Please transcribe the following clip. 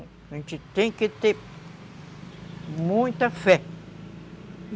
A gente tem que ter muita fé.